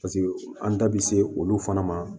Paseke an da bi se olu fana ma